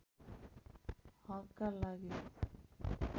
हकका लागि